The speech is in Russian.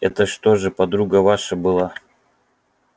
это что же подруга ваша была